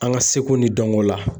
An ka seko ni dɔnko la